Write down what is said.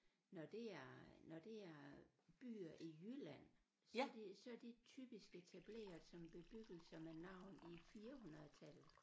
Når det er øh når det er byer i Jylland så det så det typisk etableret som bebyggelser med navn i firehundredetallet